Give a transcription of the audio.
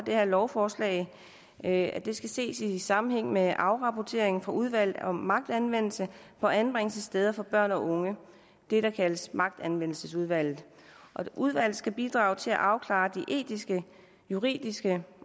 her lovforslag er at det skal ses i sammenhæng med afrapporteringen fra udvalget om magtanvendelse på anbringelsessteder for børn og unge det der kaldes magtanvendelsesudvalget udvalget skal bidrage til at afklare de etiske juridiske